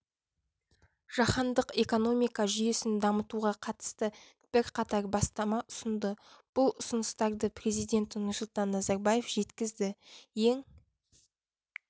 жаһандық экономика жүйесін дамытуға қатысты бірқатар бастама ұсынды бұл ұсыныстарды президент нұрсұлтан назарбаев жеткізді ең